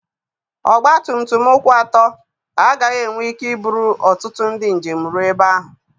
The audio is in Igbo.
Ọgba tum tum ụkwụ atọ agaghị enwe ike iburu ọtụtụ ndị njem rụọ ebe ahụ.